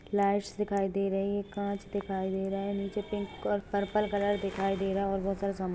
lights दिखाई दे रही हैं काच दिखाई दे रहा हैं निचे पिंक और पर्पल कलर दिखाई दे रहा हैं और बहुत सारे--